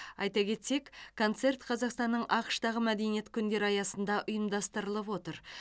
айта кетсек концерт қазақстанның ақш тағы мәдениет күндері аясында ұйымдастырылып отыр